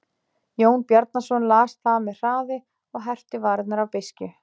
Jón Bjarnason las það með hraði og herpti varirnar af beiskju.